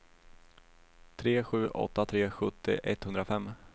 tre sju åtta tre sjuttio etthundrafem